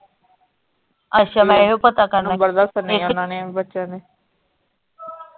ਅੱਛਾ ਮੈਂ ਇਹੋ ਪਤਾ ਕਰਨਾ ਸੀ, ਨੰਬਰ ਦੱਸਣੇ ਓਹਨਾ ਨੇ ਬੱਚਿਆਂ ਦੇ।